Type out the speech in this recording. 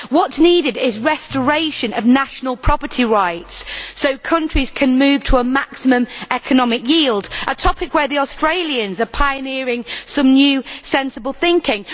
What is needed is restoration of national property rights, so countries can move to a maximum economic yield a topic where the Australians are pioneering some new sensible thinking.